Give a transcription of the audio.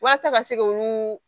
Walasa ka se k' olu